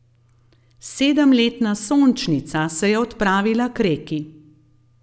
Sedemletna Sončnica se je odpravila k reki.